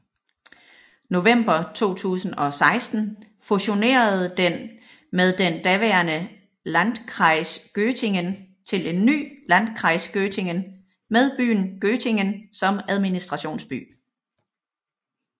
November 2016 fusionerede den med den daværende Landkreis Göttingen til en ny Landkreis Göttingen med byen Göttingen som administrationsby